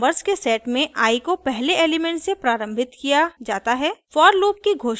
1 से 20 तक नंबर्स के सेट में i को पहले एलिमेंट से प्रारम्भित किया जाता है